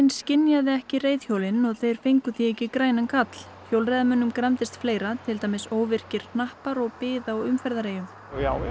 skynjaði ekki reiðhjólin og þeir fengu því ekki grænan karl hjólreiðamönnum gramdist fleira til dæmis óvirkir hnappar og bið á umferðareyjum já